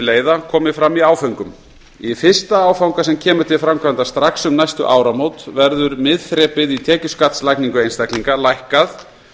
leiða komi fram í áföngum í fyrsta áfanga sem kemur til framkvæmda strax um næstu áramót verður miðþrepið í tekjuskattslagningu einstaklinga lækkað